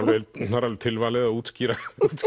það er alveg tilvalið að útskýra